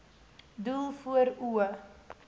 doel voor oë